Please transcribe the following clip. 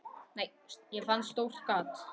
Ég fann stórt gat.